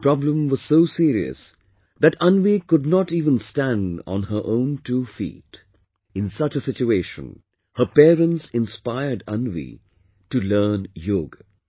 The problem was so serious, that Anvi could not even stand on her own two feet...In such a situation, her parents inspired Anvi to learn yoga